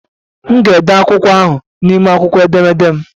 M ga-ede akwụkwọ ahụ n'ime akwụkwọ edemede m.